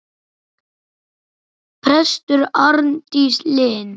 Prestur Arndís Linn.